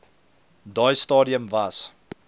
daai stadium was